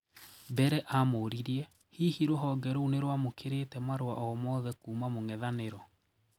Mbere amũuririe, hihi rũhonge rou nirwamũkĩrite marũa oo mothe kuuma mũng'ethaniro?